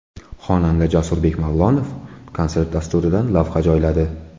Xonanda Jasurbek Mavlonov konsert dasturidan lavha joyladi.